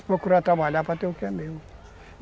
E procurar trabalhar para ter o que é meu.